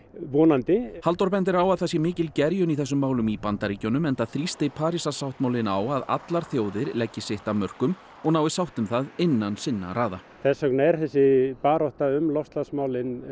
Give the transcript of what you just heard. vonandi Halldór bendir á að það sé mikil gerjun í þessum málum í Bandaríkjunum enda þrýsti Parísarsáttmálinn á að allar þjóðir leggi sitt af mörkum og nái sátt um það innan sinna raða þess vegna er þessi barátta um loftslagsmálin